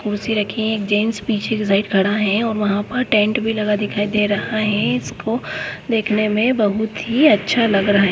कुर्सी रखी है एक जेन्ट्स पीछे खड़ा है और वहां पर टेन्ट भी लगा दिखाई दे रहा है इसको देखने में बहुत ही अच्छा लग रहा है।